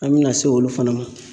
An bɛna se olu fana ma.